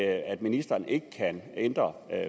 at ministeren ikke kan ændre